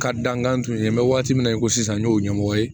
Ka dankan tun ye n bɛ waati min na i ko sisan n y'o ɲɛmɔgɔ ye